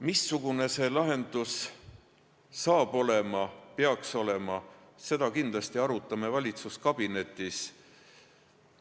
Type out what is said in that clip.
Missugune see lahendus saab olema, peaks olema, seda kindlasti arutame valitsuskabinetis.